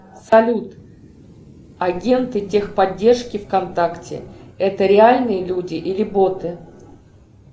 салют агенты техподдержки вконтакте это реальные люди или боты